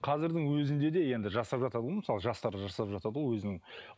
қазірдің өзінде де енді жасап жатады ғой мысалы жастар жасап жатады ғой өзінің